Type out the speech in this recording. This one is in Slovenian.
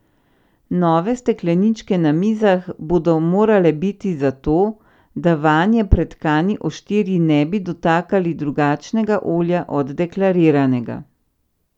Nove stekleničke na mizah bodo morale biti zato, da vanje pretkani oštirji ne bi dotakali drugačnega olja od deklariranega.